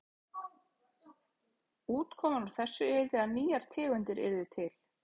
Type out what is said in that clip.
Útkoman úr þessu yrði að nýjar tegundir yrðu til.